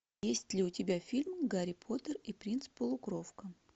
есть ли у тебя фильм гарри поттер и принц полукровка